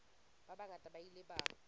ba bangata ba ile ba